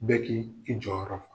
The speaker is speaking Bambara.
Bɛ k'i i jɔyɔrɔ fa.